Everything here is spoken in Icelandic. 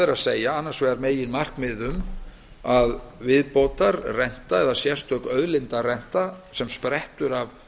er að gáð annars vegar er meginmarkmiðið um að þjóðin eigi tilkall til viðbótarrentu eða sérstakrar auðlindarentu sem sprettur af